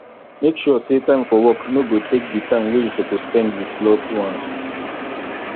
make sure say time for work no go take di time wey you suppose spend with loved ones